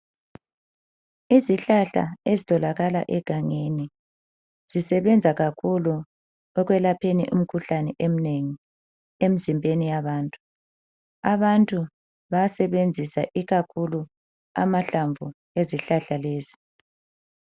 Izihlahla ezitholakala egangeni zisebenza kakhulu ekwelapheni imikhuhlane eminengi emzimbeni yabantu, abantu bayasebenzisa ikakhulu amahlamvu ezihlahla lezi.